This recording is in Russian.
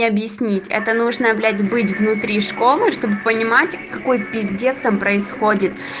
объяснить это нужно блять быть внутри школы чтобы понимать какой пиздец там происходит